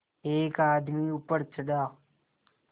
एक आदमी ऊपर चढ़ा